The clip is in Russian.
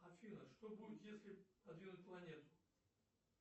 афина что будет если подвинуть планету